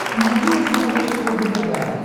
найди на смотрешке рубль тв